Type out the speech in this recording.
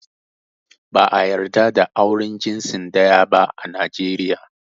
Ba ã yarda da auren jinsi daya ba ã Najeriya.